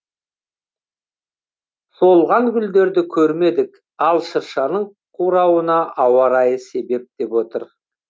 солған гүлдерді көрмедік ал шыршаның қуаруына ауа райы себеп деп отыр